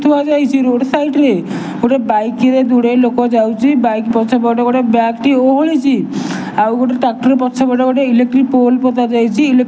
ଥୁଆଯାଇଛି road ସାଇଡ଼ରେ ଗୋଟେ bike ରେ ଦୂରେ ଲୋକ ଯାଉଛି ବାଇକ୍ ପଛପଟେ ଗୋଟେ ବ୍ୟାଗ୍ ଟି ଓହଳିଛି ଆଉ ଗୋଟେ ଟ୍ରାକ୍ଟର ପଛପଟେ ଗୋଟେ ଇଲେକ୍ଟ୍ରିକ ପୋଲ୍ ପୋତାଯାଇଛି ଇଲେ --